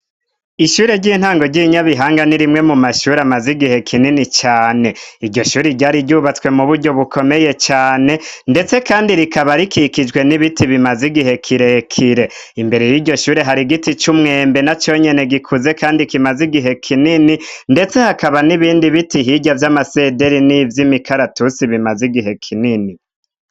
Ishure ry'intango ryi Nyabihanga ni rimwe mu mashuri amaze igihe kinini cane iryo shure ryari ryubatswe mu buryo bukomeye cane ndetse kandi rikaba rikikijwe n'ibiti bimaze igihe kirekire, imbere yiryo shure hari giti c'umwembe na conyene gikuze kandi kimaze igihe kinini ndetse hakaba n'ibindi biti hirya vy'amasederi nivy'imikaratusi bimaze igihe kinini.